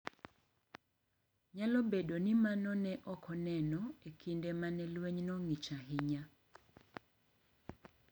Nyalo bedo ni mano ne ok oneno e kinde ma ne lwenyno ng’ich ahinya.